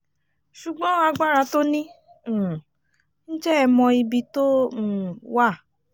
ṣùgbọ́n agbára tó ní um ǹjẹ́ ẹ mọ ibi tó um wà